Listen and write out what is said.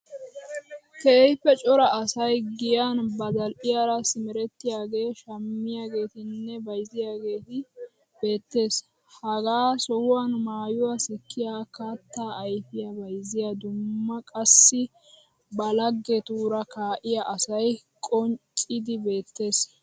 Keehippe cora asay giyan ba zal'iyara simerettiyagee, shammiyageetinne bayizziyagee beettees. Ha sohuwan maayuwa sikkiya katta ayifiya bayizziya dumma qassi ba laggetuura kaaiya asayi qonccidi beettees.